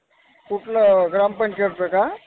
कुठलं ग्राम पंचायतचं का?